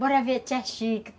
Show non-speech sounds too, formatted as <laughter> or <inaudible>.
Bora ver a <unintelligible>